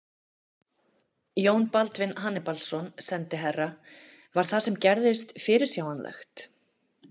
Jón Baldvin Hannibalsson, sendiherra: Var það sem gerðist fyrirsjáanlegt?